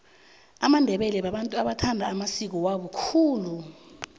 amandebele babantu abathanda amasiko wabo khulu